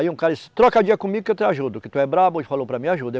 Aí um cara disse, troca dia comigo que eu te ajudo, que tu é brabo e falou para mim, ajuda. eu